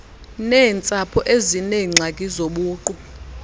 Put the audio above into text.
neentsapho ezineengxaki zobuqu